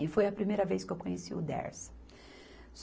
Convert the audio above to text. E foi a primeira vez que eu conheci o Dersa.